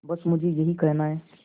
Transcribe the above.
बस मुझे यही कहना है